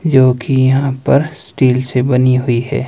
जो की यहां पर स्टील से बनी हुई है।